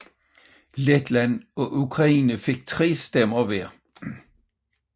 Letland og Ukraine fik tre stemmer hver